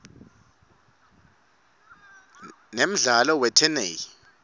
nemdlalo weteney